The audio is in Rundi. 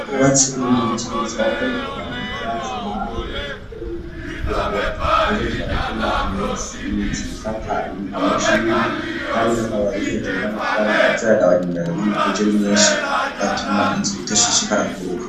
Uba ciiniicigirizwako uka vyaza mame ukugira ngo tejekratuma imitsi ikata amushingi, kandi namwa babihejure n'amashami arazaragabanyumeraga nko mu guje r'imyinshi ugatuma inzu itashishikara kuguruka.